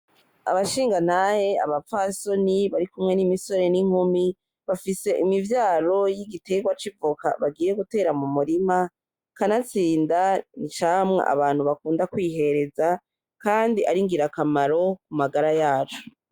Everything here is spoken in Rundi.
Abashingantahe, abapfasoni barikumwe n'imisore n'inkumi bafise imivyaro y'igitegwa c'ivoka bagiye gutera mu murima kanatsinda n'icamwa abantu bakunda kwihereza kandi ari ngirakamaro ku magara yacu.